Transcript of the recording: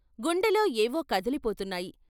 గుండెలో ఏవో కదిలిపోతున్నాయి.